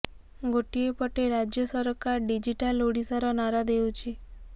ଗୋଟିଏ ପଟେ ରାଜ୍ୟ ସରକାର ଡିଜିଟାଲ୍ ଓଡ଼ିଶାର ନାରା ଦେଉଛି